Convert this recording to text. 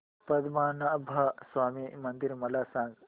पद्मनाभ स्वामी मंदिर मला सांग